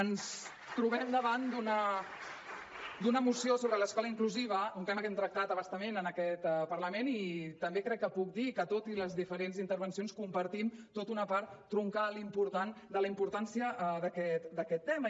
ens trobem davant d’una moció sobre l’escola inclusiva un tema que hem tractat a bastament en aquest parlament i també crec que puc dir que tot i les diferents intervencions compartim tota una part troncal important de la importància d’aquest tema